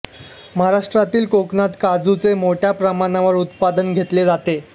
महाराष्ट्रातील कोकणात काजूचे मोठ्या प्रमाणावर उत्पादन घेतले जाते